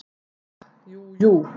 Ha, jú, jú.